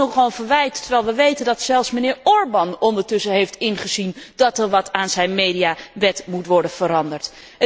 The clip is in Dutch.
Het is nogal een verwijt, terwijl wij weten dat zelfs mijnheer Orban intussen heeft ingezien dat er wat aan zijn mediawet moet worden veranderd.